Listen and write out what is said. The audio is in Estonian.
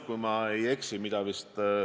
Kõigepealt haiguslehtedest.